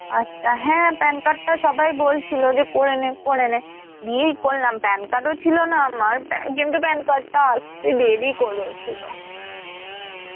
আচ্ছা হ্যাঁ PAN card টা সবাই বলছিল যে করে নে করে নে, দিয়েই করলাম, PAN card ও ছিল না আমার, প্যা~ অ্যাঁ কিন্তু PAN card টা আসতে দেরি করেছিল.